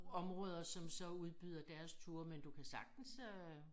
Områder osm så udbyder deres turer men du kan sagtens øh